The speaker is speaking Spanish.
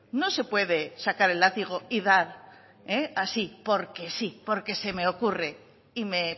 no se puede sacar el látigo y dar así porque sí porque se me ocurre y me